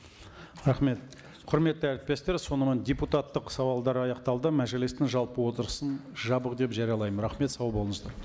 рахмет құрметті әріптестер сонымен депутаттық сауалдар аяқталды мәжілістің жалпы отырысын жабық деп жариялаймын рахмет сау болыңыздар